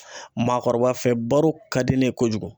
Maakɔrɔba fɛ baro ka di ne ye kojugu.